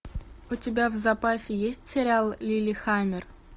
у тебя в запасе есть сериал лиллехаммер